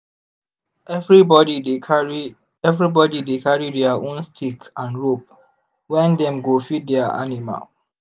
everybody dey carry everybody dey carry their own stick and rope when dem dey go feed their animal